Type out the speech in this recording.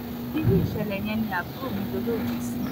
inú ìṣẹ̀lẹ̀ yẹn ni àbúrò mi dolóògbé sí